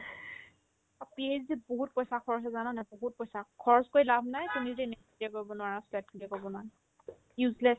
PHD ত বহুত পইচা খৰচ হয় জানানে নাই বহুত পইচা খৰচ কৰি লাভ নাই তুমি যদি NET clear কৰিব নোৱাৰা SLET clear কৰিব নোৱাৰা useless